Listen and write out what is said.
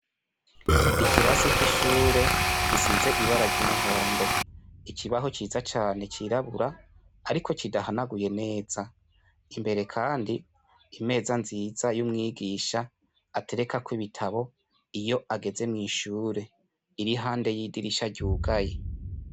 Ikirasi c'ishure gisize ibara ry'umuhondo, ikibaho ciza cane cirabura ariko kidahanaguye neza, imbere kandi, imeza nziza y'umwigisha aterekako ibitabo iyo ageze mw'ishure, iri iruhande y'idirisha ryugaye.